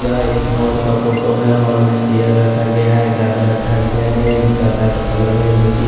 यह एक हॉल का फोटो है। हाल में चेयर रखा गया है। गदा रखा गया है गदा का कलर है जो की--